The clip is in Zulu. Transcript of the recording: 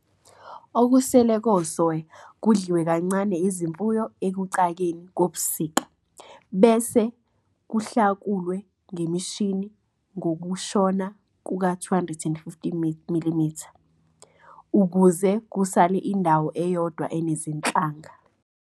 Okusele kosoya kudliwe kancane izimfuyo ekucakeni kobusika, bese kuhlakulwe ngemishini ngokushona ku250 mm, ukuze kusale indawo eyodwa enezinhlanga.